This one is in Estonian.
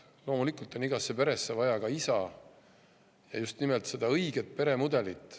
Loomulikult on igasse peresse vaja ka isa ja just nimelt seda õiget peremudelit.